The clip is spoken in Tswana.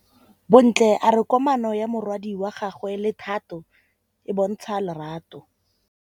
Bontle a re kamanô ya morwadi wa gagwe le Thato e bontsha lerato.